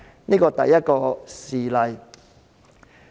這是第一個事例。